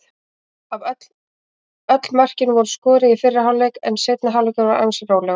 Öll mörkin voru skoruð í fyrri hálfleik en seinni hálfleikurinn var ansi rólegur.